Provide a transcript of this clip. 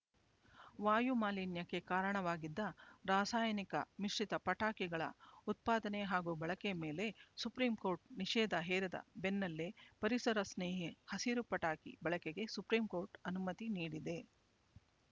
ವಾಯು ಮಾಲಿನ್ಯಕ್ಕೆ ಕಾರಣವಾಗಿದ್ದ ರಾಸಾಯನಿಕ ಮಿಶ್ರಿತ ಪಟಾಕಿಗಳ ಉತ್ಪಾದನೆ ಹಾಗೂ ಬಳಕೆ ಮೇಲೆ ಸುಪ್ರೀಂ ಕೋರ್ಟ್ ನಿಷೇದ ಹೇರಿದ ಬೆನ್ನಲ್ಲೇ ಪರಿಸರ ಸ್ನೇಹಿ ಹಸಿರು ಪಟಾಕಿ ಬಳಕೆಗೆ ಸುಪ್ರೀಂ ಕೋರ್ಟ್ ಅನುಮತಿ ನೀಡಿದೆ